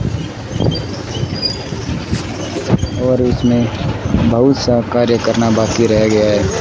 और इसमें बहुत सा कार्य करना बाकी रह गया है।